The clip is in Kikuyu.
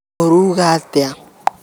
Ũrauuga atĩa?